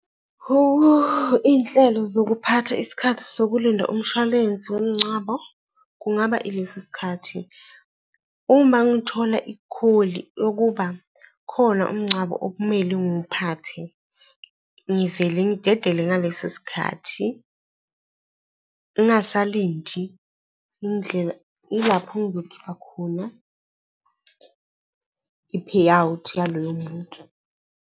Iy'nhlelo zokuphatha isikhathi sokulinda umshwalense womngcwabo kungaba ilesisikhathi. Uma ngithola ikholi yokuba khona umngcwabo okumele ngiwuphathe, ngivele ngidedele ngaleso sikhathi ngingasalindi . Yilapho engizokhipha khona i-payout yalowo muntu.